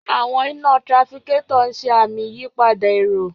Àwọn iná trafficator ń ṣe àmì ìyípadà èrò.